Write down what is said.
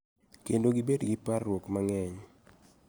Kendo gibed gi parruok mang�eny.